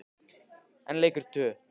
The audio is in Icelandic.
En leikurinn?